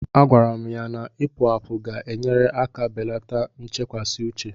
Agwara m ya na Ipu àpu ga-enyere aka belata nchekasị uche